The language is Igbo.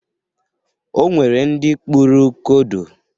O nwere ndị kpụrụ kodo.